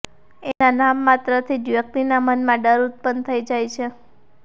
એમના નામ માત્રથી જ વ્યક્તિના મનમાં ડર ઉત્પન્ન થઈ જાય છે